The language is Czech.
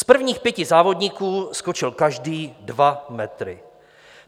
Z prvních pěti závodníků skočil každý dva metry.